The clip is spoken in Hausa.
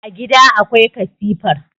a gida akwai katifar